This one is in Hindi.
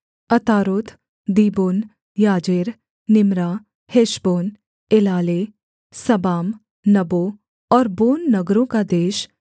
अतारोत दीबोन याजेर निम्रा हेशबोन एलाले सबाम नबो और बोन नगरों का देश